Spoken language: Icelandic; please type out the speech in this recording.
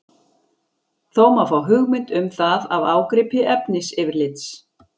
Þó má fá hugmynd um það af ágripi efnisyfirlits.